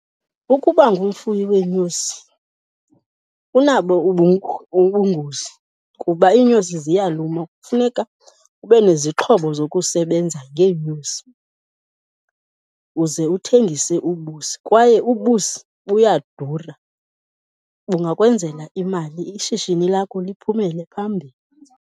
Ukuba ungumfuyi weenyosi kunabo ubungozi kuba iinyosi ziyaluma, kufuneka ube nezixhobo zokusebenza ngeenyosi uze uthengise ubusi. Kwaye ubusi buyadura, bungakwenzela imali, ishishini lakho liphumele phambili.